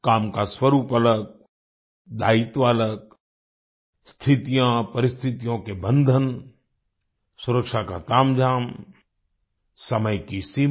काम का स्वरूप अलग दायित्व अलग स्थितियाँपरिस्तिथियों के बंधन सुरक्षा का तामझाम समय की सीमा